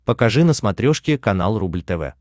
покажи на смотрешке канал рубль тв